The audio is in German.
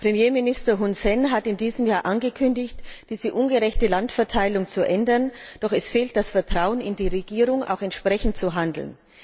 Premierminister Hun Sen hat in diesem Jahr angekündigt, diese ungerechte Landverteilung zu ändern, doch es fehlt das Vertrauen in die Regierung, dass sie auch entsprechend handelt.